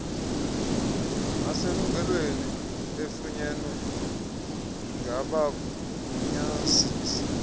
eselungelweni efunyenwe ngabagunyazisi